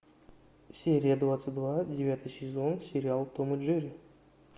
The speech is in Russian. серия двадцать два девятый сезон сериал том и джерри